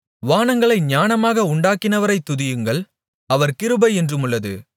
வானங்களை ஞானமாக உண்டாக்கினவரைத் துதியுங்கள் அவர் கிருபை என்றுமுள்ளது